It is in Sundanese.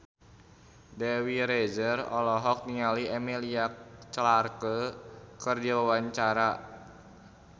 Dewi Rezer olohok ningali Emilia Clarke keur diwawancara